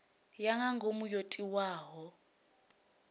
ya nga ngomu yo tiwaho